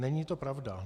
Není to pravda.